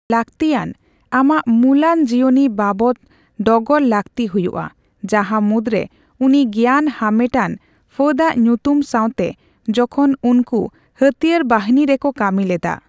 ᱞᱟᱹᱠᱛᱤᱭᱟᱱ, ᱟᱢᱟᱜ ᱢᱩᱞᱟᱱ ᱡᱤᱭᱚᱱᱤ ᱵᱟᱵᱚᱛ ᱰᱚᱜᱚᱨ ᱞᱟᱹᱠᱛᱤ ᱦᱩᱭᱩᱜᱼᱟ, ᱡᱟᱦᱟᱸ ᱢᱩᱫᱽᱨᱮ ᱩᱱᱤ ᱜᱮᱭᱟᱱ ᱦᱟᱢᱮᱴ ᱟᱱ ᱯᱷᱟᱹᱫᱟᱜ ᱧᱩᱛᱩᱢ ᱥᱟᱣᱛᱮ ᱡᱚᱠᱷᱚᱱ ᱩᱱᱠᱩ ᱦᱟᱹᱛᱭᱟᱹᱨ ᱵᱟᱹᱦᱤᱱᱤ ᱨᱮᱠᱚ ᱠᱟᱹᱢᱤ ᱞᱮᱫᱟ ᱾